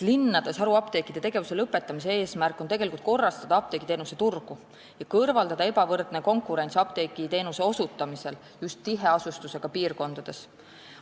Linnades haruapteekide tegevuse lõpetamise eesmärk on korrastada apteegiteenuse turgu ja kõrvaldada ebavõrdne konkurents apteegiteenuse osutamisel just tiheasustusega piirkondades.